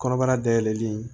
Kɔnɔbara dayɛlɛli